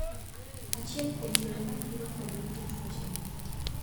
Achiel kuom yore mathiro kod rito tuoche gi.